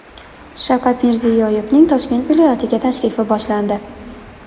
Shavkat Mirziyoyevning Toshkent viloyatiga tashrifi boshlandi.